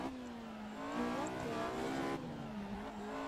кулаковой